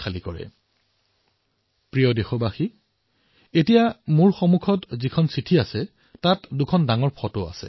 মোৰ মৰমৰ দেশবাসীসকল এতিয়া যিখন পত্ৰ মোৰ সন্মুখত আছে তাত দুখন ডাঙৰ ফটো আছে